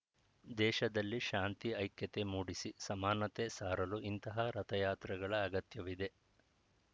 ದೇಶದಲ್ಲಿ ಶಾಂತಿ ಐಕ್ಯತೆ ಮೂಡಿಸಿ ಸಮಾನತೆ ಸಾರಲು ಇಂತಹ ರಥಯಾತ್ರೆಗಳ ಅಗತ್ಯವಿದೆ